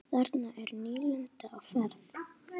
Þarna er nýlunda á ferð.